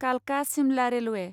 कालका सिमला रेलवे